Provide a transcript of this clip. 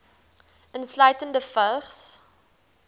insluitende vigs